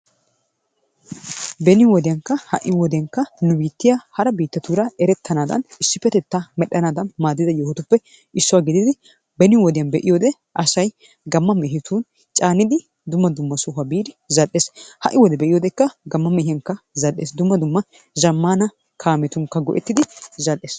Beni wodiyaankka ha'i wodiyaanka nu biittiyaa hara biittatuura erettanadaan issipettettaa medhdhanaadan maadida yoohotuppe issuwaa giididi beeni wodiyaan be'iyoode asay gamma mehetun caannidi dumma dumma sohuwaa biidi zal"ees. ha"i wodiyaan be'iyoodekka gamma mehiyaan zal"ees. Dumma dumma zaammaana kaammetunikka go"ettidi zal"ees.